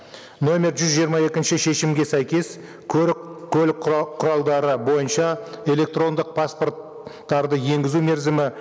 нөмір жүз жиырма екінші шешімге сәйкес көлік құралдары бойынша электрондық паспорттарды енгізу мерзімі